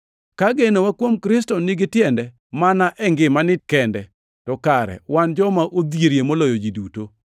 Ka genowa kuom Kristo nigi tiende mana e ngimani kende, to kare wan joma odhierie moloyo ji duto.